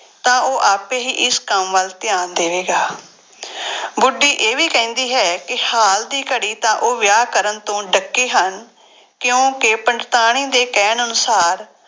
ਤਾਂ ਉਹ ਆਪੇ ਹੀ ਇਸ ਕੰਮ ਵੱਲ ਧਿਆਨ ਦੇਵੇਗਾ ਬੁੱਢੀ ਇਹ ਵੀ ਕਹਿੰਦੀ ਹੈ ਕਿ ਹਾਲ ਦੀ ਘੜੀ ਤਾਂ ਉਹ ਵਿਆਹ ਕਰਨ ਤੋਂ ਡੱਕੇ ਹਨ ਕਿਉਂਕਿ ਪੰਡਤਾਣੀ ਦੇ ਕਹਿਣ ਅਨੁਸਾਰ